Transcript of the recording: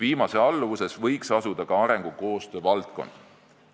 Tema alluvuses võiks asuda ka arengukoostöö valdkond.